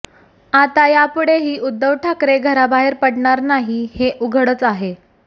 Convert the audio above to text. आता यापुढेही उद्धव ठाकरे घराबाहेर पडणार नाही हे उघडच आहे